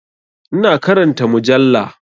Ina karanta mujalla.